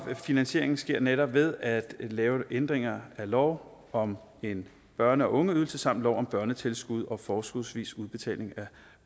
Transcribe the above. finansieringen sker netop ved at lave ændringer af lov om en børne og ungeydelse samt lov om børnetilskud og forskudsvis udbetaling af